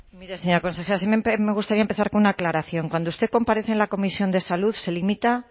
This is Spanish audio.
mire señora consejera sí me gustaría empezar con una aclaración cuando usted comparece en la comisión de salud se limita